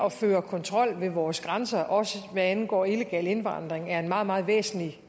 at føre kontrol ved vores grænser også hvad angår illegal indvandring er en meget meget væsentlig